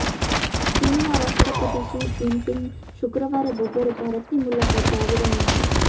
ચીનના રાષ્ટ્રપતિ Xi Jinping શુક્રવારે બપોરે ભારતની મુલાકાતે આવી રહ્યા છે